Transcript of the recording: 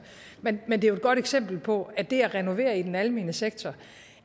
men men det er et godt eksempel på at det at renovere i den almene sektor